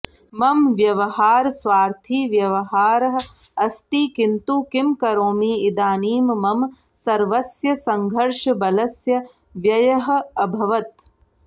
मम व्यवहारः स्वार्थी व्यवहारः अस्ति किन्तु किं करोमि इदानीं मम सर्वस्य संघर्षबलस्य व्ययः अभवत्